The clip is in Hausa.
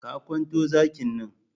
Ka kwanto zakin nan!